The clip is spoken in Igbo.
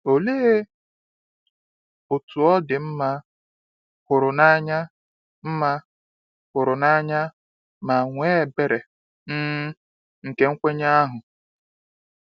Olee otú ọ dị mma, hụrụ n’anya, mma, hụrụ n’anya, ma nwee ebere, um nke nkwenye ahụ!